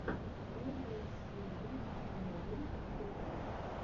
первая серия уоу тв